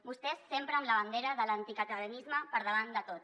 vostès sempre amb la bandera de l’anticatalanisme per davant de tot